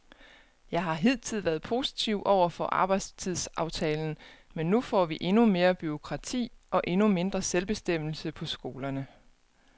Jeg har hidtil været positiv over for arbejdstidsaftalen, men nu får vi endnu mere bureaukrati og endnu mindre selvbestemmelse på skolerne.